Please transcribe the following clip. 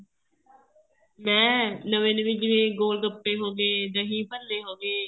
ਮੈਂ ਨਵੇਂ ਨਵੇਂ ਜਿਵੇਂ ਗੋਲਗੱਪੇ ਹੋ ਗਏ ਦਹੀਂ ਭੱਲੇ ਹੋ ਗਏ